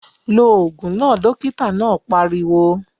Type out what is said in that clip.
Lo ògùn náà! Dókítà náà pariwo